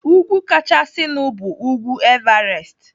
Úgwú kachasịnu bu ugwu Everest.